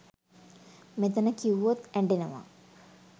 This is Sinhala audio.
මෙතන කිව්වොත් ඇඩෙනවා